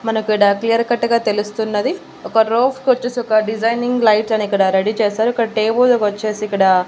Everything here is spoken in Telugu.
మనకీడ క్లియర్ కట్టుగా గా తెలుస్తున్నది ఒక రోఫ్ కొచ్చేసి ఒక డిజైనింగ్ లైట్స్ అని ఇక్కడ రెడీ చేశారు ఇక్కడ టేబుల్ కొచ్చేసి ఇక్కడ--